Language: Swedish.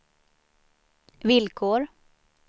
villkor